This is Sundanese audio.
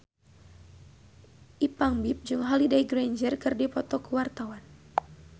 Ipank BIP jeung Holliday Grainger keur dipoto ku wartawan